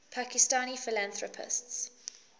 pakistani philanthropists